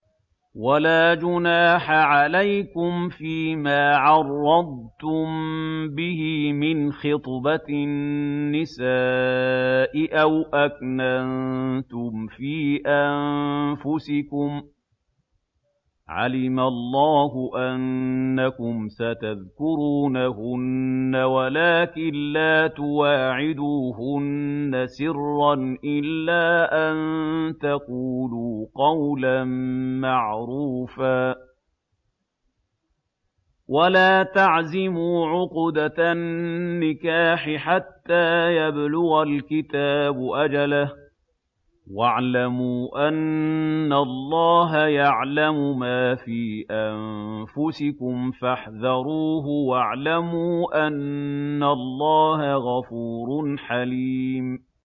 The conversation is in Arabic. وَلَا جُنَاحَ عَلَيْكُمْ فِيمَا عَرَّضْتُم بِهِ مِنْ خِطْبَةِ النِّسَاءِ أَوْ أَكْنَنتُمْ فِي أَنفُسِكُمْ ۚ عَلِمَ اللَّهُ أَنَّكُمْ سَتَذْكُرُونَهُنَّ وَلَٰكِن لَّا تُوَاعِدُوهُنَّ سِرًّا إِلَّا أَن تَقُولُوا قَوْلًا مَّعْرُوفًا ۚ وَلَا تَعْزِمُوا عُقْدَةَ النِّكَاحِ حَتَّىٰ يَبْلُغَ الْكِتَابُ أَجَلَهُ ۚ وَاعْلَمُوا أَنَّ اللَّهَ يَعْلَمُ مَا فِي أَنفُسِكُمْ فَاحْذَرُوهُ ۚ وَاعْلَمُوا أَنَّ اللَّهَ غَفُورٌ حَلِيمٌ